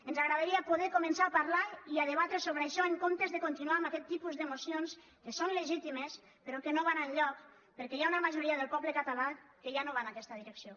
ens agradaria poder començar a parlar i a debatre això en comptes de continuar amb aquest tipus de mocions que són legitimes però que no van enlloc perquè hi ha una majoria del poble català que ja no va en aquesta direcció